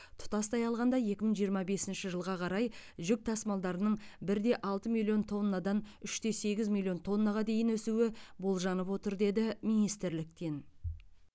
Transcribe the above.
тұтастай алғанда екі мың жиырма бесінші жылға қарай жүк тасымалдарының бір де алты миллион тоннадан үш те сегіз миллион тоннаға дейін өсуі болжанып отыр деді министрліктен